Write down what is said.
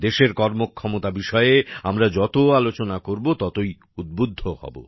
দেশের কর্মক্ষমতা বিষয়ে আমরা যত আলোচনা করব ততই উদ্বুদ্ধ হব